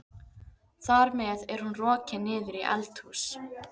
Þar með er hún rokin niður í eldhús.